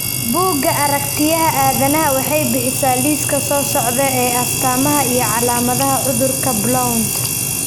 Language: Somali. Buugga Aragtiyaha Aadanahawaxay bixisaa liiska soo socda ee astamaha iyo calaamadaha cudurka Blount.